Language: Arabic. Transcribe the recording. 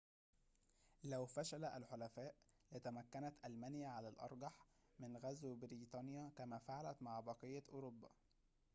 لو فشل الحلفاء لتمكنت ألمانيا على الأرجح من غزو بريطانيا كما فعلت مع بقية أوروبا